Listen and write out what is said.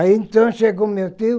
Aí então chegou meu tio,